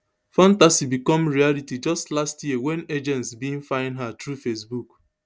fantasy become reality just last year wen agents bin find her through facebook